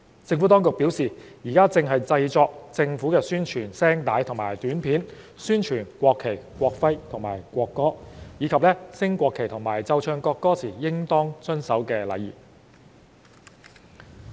政府當局表示現正製作政府宣傳聲帶及短片，宣傳國旗、國徽及國歌，以及升國旗和奏唱國歌時應當遵守的禮儀。